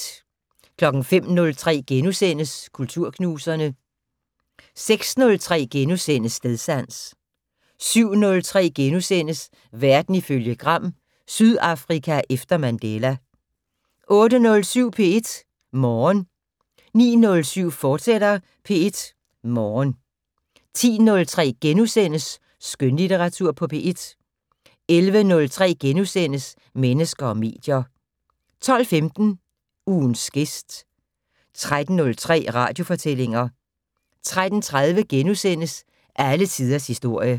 05:03: Kulturknuserne * 06:03: Stedsans * 07:03: Verden ifølge Gram: Sydafrika efter Mandela * 08:07: P1 Morgen 09:07: P1 Morgen, fortsat 10:03: Skønlitteratur på P1 * 11:03: Mennesker og medier * 12:15: Ugens gæst 13:03: Radiofortællinger 13:30: Alle tiders historie *